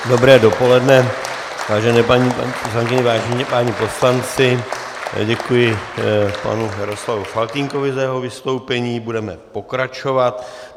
Dobré dopoledne, vážené paní poslankyně, vážení páni poslanci, děkuji panu Jaroslavu Faltýnkovi za jeho vystoupení, budeme pokračovat.